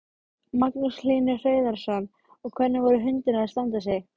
Magnús Hlynur Hreiðarsson: Og hvernig voru hundarnir að standa sig?